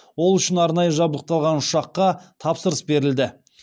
ол үшін арнайы жабдықталған ұшаққа тапсырыс берілді